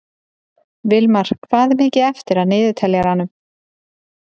Vilmar, hvað er mikið eftir af niðurteljaranum?